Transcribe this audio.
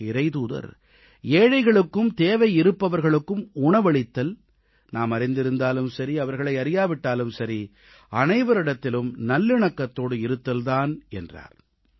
இதற்கு இறைத்தூதர் ஏழைகளுக்கும் தேவையிருப்பவர்களுக்கும் உணவளித்தல் நாம் அறிந்திருந்தாலும் சரி அவர்களை அறியாவிட்டாலும் சரி அனைவரிடத்திலும் நல்லிணக்கத்தோடு இருத்தல் தான் என்றார்